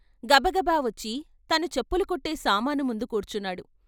గబగబా వచ్చి తను చెప్పులు కుట్టే సామానుముందు కూర్చున్నాడు.